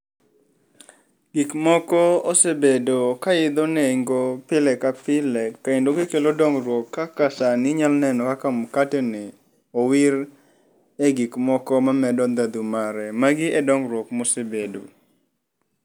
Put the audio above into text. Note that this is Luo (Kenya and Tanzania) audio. Gik moko osebedo ka idho nengo pile ka pile kendo gikelo dongruok kaka sani inyalo neno kaka mkate ni owire gik moko mamedo ndhadhu mare. Magi e dongruok mosebedo.